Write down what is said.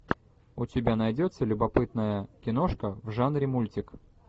у тебя найдется любопытная киношка в жанре мультик